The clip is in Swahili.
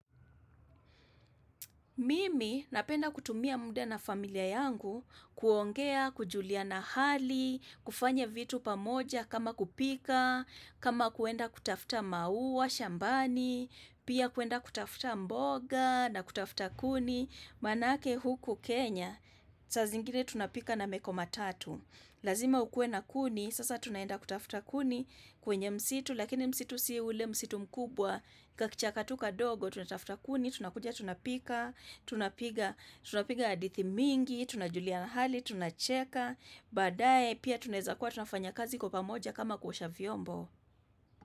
Mimi napenda kutumia mda na familia yangu kuongea, kujuliana hali, kufanya vitu pamoja kama kupika, kama kuenda kutafuta maua, shambani, pia kuenda kutafuta mboga na kutafuta kuni. Manake huku Kenya saa zingine tunapika na meko matatu lazima ukue na kuni sasa tunaenda kutafuta kuni kwenye msitu lakini msitu si ule msitu mkubwa kakichaka tu kadogo tunatafuta kuni tunakuja tunapika tunapiga hadithi mingi tunajulia hali tunacheka badae pia tunaweza kua tunafanya kazi kwa pamoja kama kuosha vyombo.